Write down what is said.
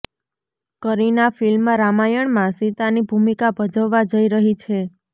Kareena film રામાયણમાં સીતાની ભૂમિકા ભજવવા જઈ રહી છે